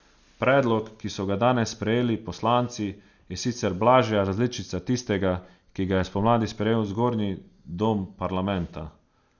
Predlog, ki so ga danes sprejeli poslanci, je sicer blažja različica tistega, ki ga je spomladi sprejel zgornji dom parlamenta.